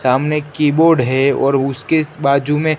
सामने कीबोर्ड है और उसके बाजू में--